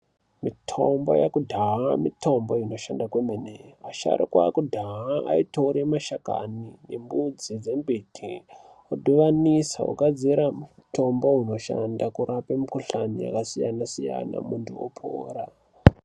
Mitombo yakudhaya, mitombo inoshanda kwemene. Asharukwa akudhaya ayitore mashakani nembudzi dzembiti , odibanisa ogadzira mutombo unoshanda korape mukhuhlane yakasiyana siyana muntu opora.